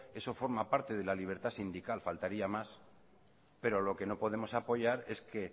eso forma parte de la libertad sindical faltaría más pero lo que no podemos apoyar es que